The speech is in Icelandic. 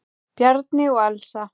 Bjarni og Elsa.